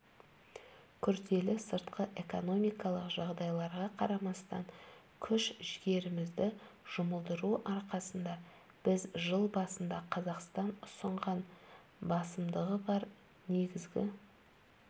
күрделі сыртқы экономикалық жағдайларға қарамастан күш-жігерімізді жұмылдыру арқасында біз жыл басында қазақстан ұсынған басымдығы бар негізгі